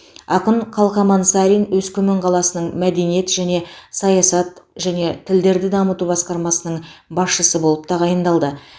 ақын қалқаман сарин өскемен қаласының мәдениет және ішкі саясат және тілдерді дамыту басқармасының басшысы болып тағайындалды